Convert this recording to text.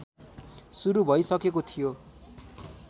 सुरू भइसकेको थियो